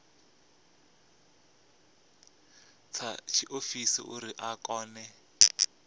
dza tshiofisi uri a kone